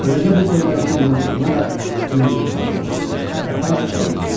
Beləcə buferlər bir-birinə toxunaraq cingilti saldılar və qatar dayandı.